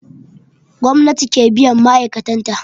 Gwamnati ke biyan ma'aikatan ta